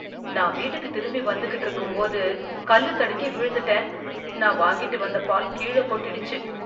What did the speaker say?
நான் வீட்டுக்கு திரும்பி வந்துக்கிட்டு இருக்கும்போது கல்லு தடுக்கி விழுந்துட்டேன், நான் வாங்கிட்டு வந்த பால் கீழ கொட்டிடுச்சு.